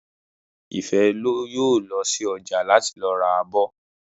Ìfẹ́ yóò lọ sí ọjà láti lọ ra abọ́